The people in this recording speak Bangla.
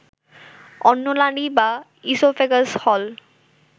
অন্ননালী বা ইসোফেগাস হল